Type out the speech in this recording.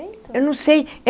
Eu não sei.